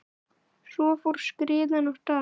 Svo fór skriðan af stað.